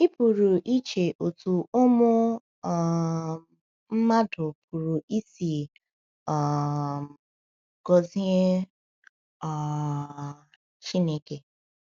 Ị pụrụ iche otú ụmụ um mmadụ pụrụ isi um gọzie um Chineke.